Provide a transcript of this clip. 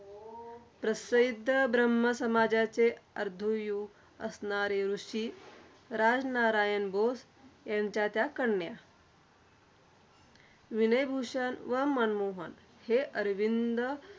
प्रसिद्ध ब्रह्मसमाजाचे अर्ध्वयु असणारे ऋषी, राजनारायण घोष यांच्या त्या कन्या. विनयभूषण व मनमोहन हे अरविंद